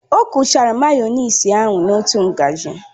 O kuchara mayonasị ahu n'otu ngaji